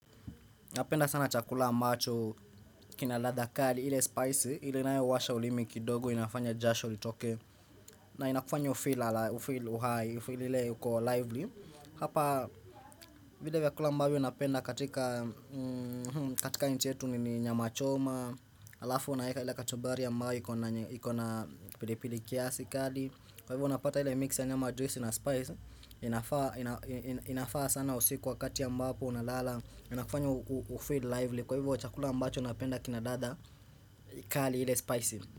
Napenda sana chakula mbacho, kina ladha kali, ile spicy, ile nayo huwasha ulimi kidogo, inafanya jasho litoke, na inakufanya ufeel alive ufeel uhai, ufeel ile uko lively. Hapa vile vyakula ambavyo napenda katika, katika nchi yetu ni nyama choma, alafu unaeka ile kachumbari ambayo iko na pilipili kiasi kali. Kwa hivyo unapata ile mix ya nyama juice na spice inafaa sana usiku wakati ambapo Unalala Inakufanya ufeel lively Kwa hivyo chakula ambacho napenda kina dada kali ile spicy.